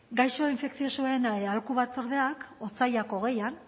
gaixo infekziosoen aholku batzordeak otsailak hogeian